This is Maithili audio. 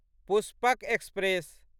पुष्पक एक्सप्रेस